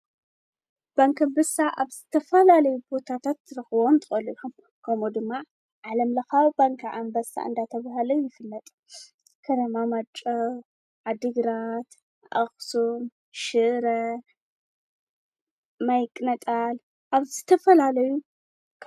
ክነማማጮ ኣድግራት ኣኽሱን ሽረ ማይቕነጣል ኣብ ዝተፈላለዩዕቋር፣ ልቓሕ፣ ካልእ ናይ ባንክ ኣገልግሎት ዝህባ ፋይናንሳዊ ትካላት እየን። ባንክታት ብንግዳዊ መሰረት ክሰርሓ እንከለዋ፡ ሕብረት ስራሕ ማሕበራት ድማ ብኣባላተን ዝውነናን ዝቆጻጸራን እየን። ክልቲኦም ንፋይናንሳዊ ድሌታት ውልቀሰባት፡ ትካላት ንግድን ማሕበረሰባትን ይድግፉ።